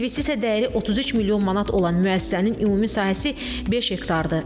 İnvestisiya dəyəri 33 milyon manat olan müəssisənin ümumi sahəsi 5 hektardır.